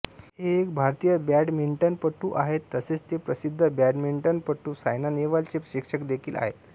हे एक भारतीय बॅडमिंटनपटू आहेत तसेच ते प्रसिद्ध बॅडमिंटनपटू सायना नेहवाल चे शिक्षक देखील आहेत